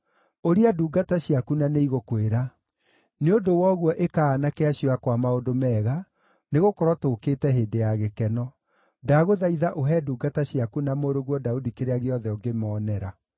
Ũria ndungata ciaku na nĩigũkwĩra. Nĩ ũndũ wa ũguo ĩka aanake acio akwa maũndũ mega, nĩgũkorwo tũũkĩte hĩndĩ ya gĩkeno. Ndagũthaitha ũhe ndungata ciaku na mũrũguo Daudi kĩrĩa gĩothe ũngĩmoonera.’ ”